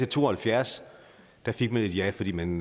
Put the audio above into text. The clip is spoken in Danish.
to og halvfjerds fik man et ja fordi man